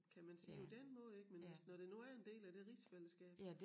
Kan man sige på den måde ik men hvis når det nu er en del af det rigsfællesskab